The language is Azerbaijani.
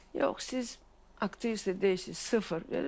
Yox, siz aktrisa deyilsiz, sıfır.